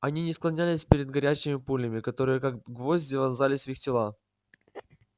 они не склонялись перед горячими пулями которые как гвозди вонзались в их тела